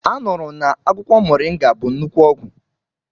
Anụrụ na akwụkwọ moringa bụ nnukwu ọgwụ.